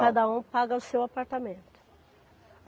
Aí cada um paga o seu apartamento.